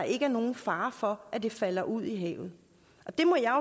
ikke er nogen fare for at det falder ud i havet det må jeg